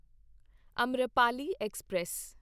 Amrapali express